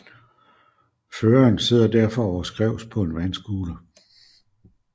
Føreren sidder derfor overskrævs på en vandscooter